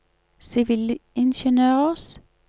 sivilingeniørers